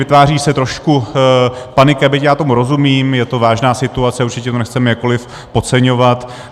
Vytváří se trošku panika, byť já tomu rozumím, je to vážná situace, určitě to nechceme jakkoliv podceňovat.